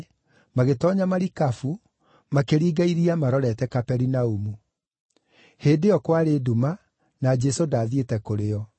magĩtoonya marikabu, makĩringa iria marorete Kaperinaumu. Hĩndĩ ĩyo kwarĩ nduma, na Jesũ ndaathiĩte kũrĩ o.